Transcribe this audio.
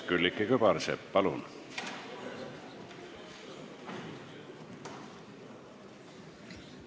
Külliki Kübarsepp, palun!